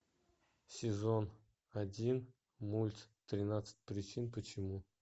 сезон один мульт тринадцать причин почему